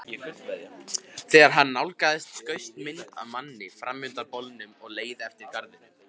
Þegar hann nálgaðist skaust mynd af manni fram undan bolnum og leið eftir garðinum.